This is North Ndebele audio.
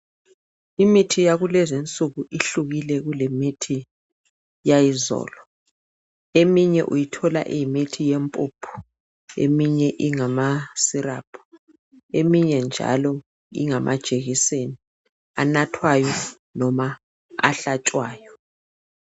Imithi yakulezi nsuku ihlukile kulemithi yayizolo eminye uyithola iyimithi yempuphu eminye ingama syrup njalo ingamajekiseni anathwayo noma ahlatshwayo.